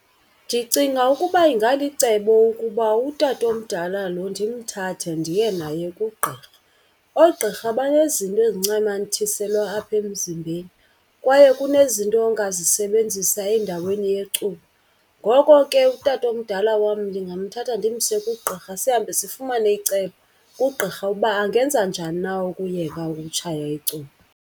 Ndicinga ukuba ingalicebo ukuba utatomdala lo ndimthathe ndiye naye kugqirha. Oogqirha banezinto ezincamathiselwa apha emzimbeni kwaye kunezinto ongazisebenzisa endaweni yecuba. Ngoko ke utatomdala wam ndingamthatha ndimse kugqirha, sihambe sifumane icebo kugqirha uba angenza njani na ukuyeka ukutshaya icuba.